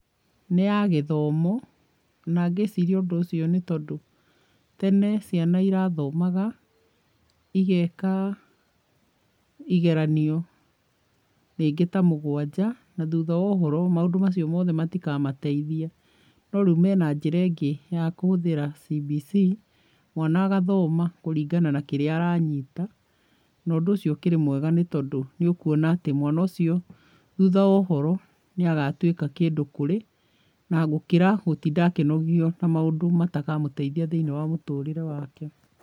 Nĩ ya gĩthomo na ngĩciria ũndũ ũcio nĩ tondũ tene ciana irathomaga igeka igeranio rĩngĩ ta mũgwanja na thutha wa ũhoro maũndũ macio mothe matikamateithia. No rĩu mena njĩra ĩngĩ ya kũhũthĩra CBC mwana agathoma kũringana na kĩrĩa aranyita na ũndũ ũcio ũkĩrĩ mwega tondũ nĩ ũkuona atĩ mwana ũcio thutha wa ũhoro nĩ agatuĩka kĩndũ kũrĩ na gũkĩra gũtinda akĩnogio na maũndũ matakamũteithia thĩiniĩ wa mũtũrĩre wake.